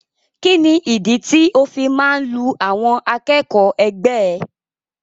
Kini ìdí tí o fi máa n lu àwọn akẹ́kọ̀ọ́ ẹgbẹ ẹ?